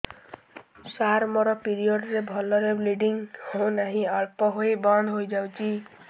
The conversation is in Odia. ସାର ମୋର ପିରିଅଡ଼ ରେ ଭଲରେ ବ୍ଲିଡ଼ିଙ୍ଗ ହଉନାହିଁ ଅଳ୍ପ ହୋଇ ବନ୍ଦ ହୋଇଯାଉଛି